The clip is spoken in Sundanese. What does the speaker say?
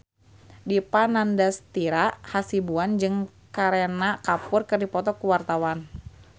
Dipa Nandastyra Hasibuan jeung Kareena Kapoor keur dipoto ku wartawan